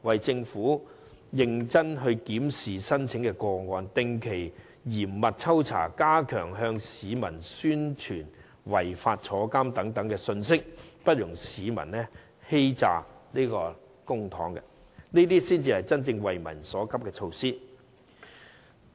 政府應認真檢視申請個案，定期嚴密抽查，並加強向市民宣傳違法可致入獄的信息，不容市民欺詐公帑，這才是真正急民所急的措施。